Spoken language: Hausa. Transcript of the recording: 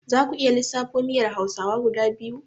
Zaku iya lissafo miyar hausawa guda biyu?